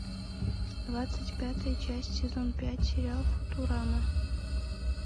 двадцать пятая часть сезон пять сериал футурама